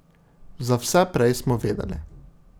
Za vse prej smo vedeli.